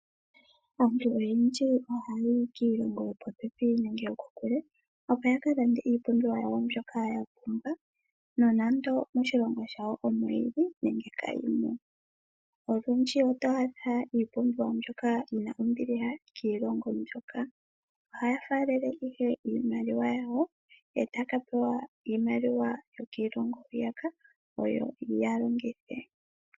Aantu oyendji ohaayi kiilongo yopopepi nenge yokokule, opo ya ka lande iipumbiwa yawo mbyoka ya pumbwa, nonando moshilongo shawo omo yili nenge kayimo. Olundji oto adha iipumbiwa mbyoka yi na ombiliha kiilongo mbyoka. Oha ya faalele ihe iimaliwa yawo, ee ta ya ka pewa iimaliwa yokiilongo hwiyaka, oyo ya longithe.